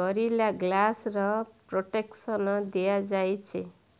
ଗରିଲା ଗ୍ଲାସର ପ୍ରୋଟେକସନ ଦିଆଯାଇଛି